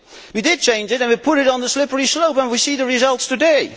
We did change it, and we put it on the slippery slope and we see the results today.